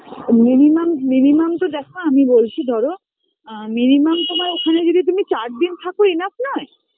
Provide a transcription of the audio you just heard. minimum minimum তো দেখো আমি বলছি ধরো